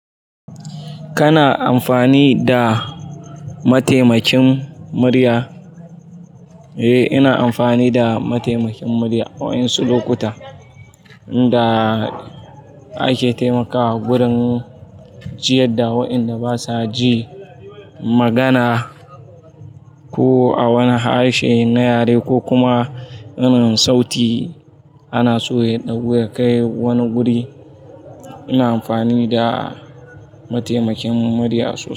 Kana amfani da mataimakin murya? Eh, ina amfani da mataimakin murya waye su lokuta da ake taimakawa gurin, jiya da waƴanda basa ji magana ko a wani harshe na yare ko kuma na mai saiti ana so ya ɗago ya kai wani guri. Ina amfani da mataimakin murya su.